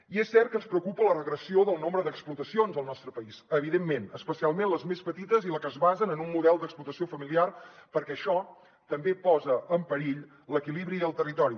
i és cert que ens preocupa la regressió del nombre d’explotacions al nostre país evidentment especialment les més petites i les que es basen en un model d’explotació familiar perquè això també posa en perill l’equilibri al territori